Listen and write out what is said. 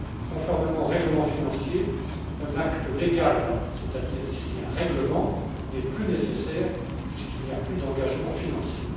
Conformément au règlement financier, un acte légal, c'est à dire ici un règlement, n'est plus nécessaire, puisqu'il n'y a plus d'engagement financier.